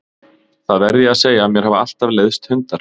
Það verð ég að segja að mér hafa alltaf leiðst hundar.